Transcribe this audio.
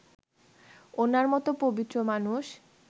উনার মত পবিত্র মানুষ